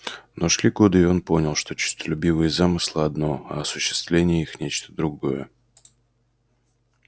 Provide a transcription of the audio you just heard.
но шли годы и он понял что честолюбивые замыслы одно а осуществление их нечто другое